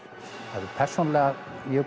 hafði persónulega